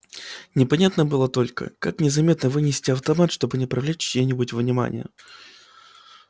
непонятно было только как незаметно вынести автомат чтобы не привлечь чьего-нибудь внимания